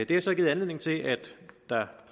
det har så givet anledning til at der